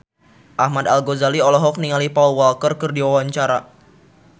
Ahmad Al-Ghazali olohok ningali Paul Walker keur diwawancara